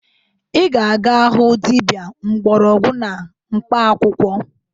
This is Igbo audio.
Ị ga-aga hụ dibia mgbọrọgwụ na mkpaakwụkwọ!